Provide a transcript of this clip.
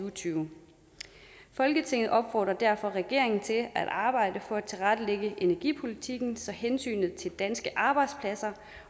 og tyve folketinget opfordrer derfor regeringen til at arbejde for at tilrettelægge energipolitikken så hensynet til danske arbejdspladser